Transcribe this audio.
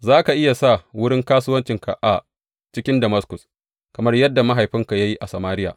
Za ka iya sa wurin kasuwarka a cikin Damaskus, kamar yadda mahaifinka ya yi a Samariya.